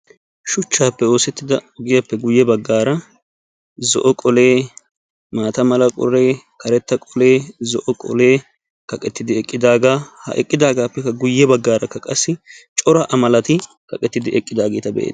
Shuchchaape oosettiida ogiyaappe guyye bagaara zo"o qolee, maata mala qolee, karetta qolee, zo"o qolee, kaqettidi eqqidagaa. Ha eqqidaagaappekka guyye baggaarakka qassi cora a malati kaqetidi eqqidaageta be"eetes.